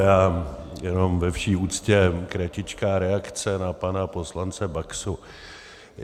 Já jenom ve vší úctě kratičkou reakci na pana poslance Baxu.